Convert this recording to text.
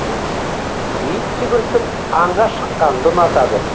ит жүгіртіп аңға шыққанды ұнатады